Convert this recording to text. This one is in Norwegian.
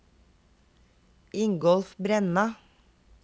Ingolf Brenna